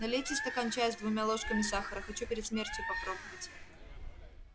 налейте стакан чаё с двумя ложками сахара хочу перед смертью попробовать